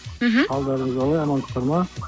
мхм қалдарыңыз қалай амансыздар ма